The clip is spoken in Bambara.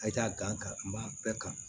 A ye taa gan kari n b'a bɛɛ kan